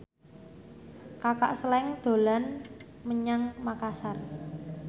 Kaka Slank dolan menyang Makasar